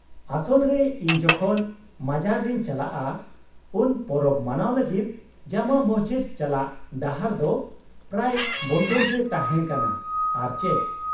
-ᱟᱥᱚᱞ ᱨᱮ, ᱤᱧ ᱡᱚᱠᱷᱚᱱ ᱢᱟᱡᱟᱨ ᱨᱮᱧ ᱪᱟᱞᱟᱜᱼᱟ ᱩᱱ ᱯᱚᱨᱚᱵᱽ ᱢᱟᱱᱟᱣ ᱞᱟᱹᱜᱤᱫ ᱡᱟᱢᱟ ᱢᱚᱥᱡᱤᱫ ᱪᱟᱞᱟᱜ ᱰᱟᱦᱟᱨ ᱫᱚ ᱯᱨᱟᱭ ᱵᱚᱱᱫᱷᱚ ᱜᱮ ᱛᱟᱦᱮᱸ ᱠᱟᱱᱟ ᱟᱨ ᱪᱮᱫ ᱾